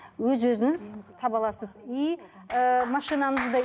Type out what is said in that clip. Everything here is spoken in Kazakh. өз өзіңіз таба аласыз и ыыы машинаңызда